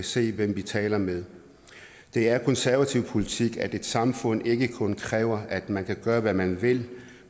se hvem vi taler med det er konservativ politik at et samfund ikke kun kræver at man kan gøre hvad man vil